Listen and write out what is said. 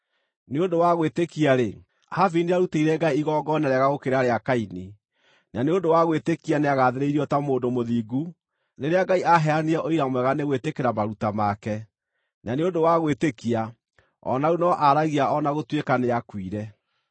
Nĩ ũndũ wa gwĩtĩkia-rĩ, Habili nĩarutĩire Ngai igongona rĩega gũkĩra rĩa Kaini. Na nĩ ũndũ wa gwĩtĩkia nĩagathĩrĩirio ta mũndũ mũthingu rĩrĩa Ngai aaheanire ũira mwega nĩ gwĩtĩkĩra maruta make. Na nĩ ũndũ wa gwĩtĩkia o na rĩu no aaragia o na gũtuĩka nĩakuire.